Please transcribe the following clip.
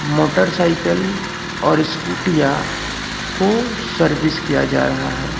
Motorcycle और स्कूटीया को सर्विस किया जा रहा है।